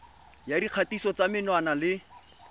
ya dikgatiso tsa menwana le